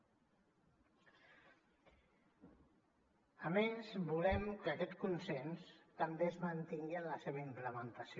a més volem que aquest consens també es mantingui en la seva implementació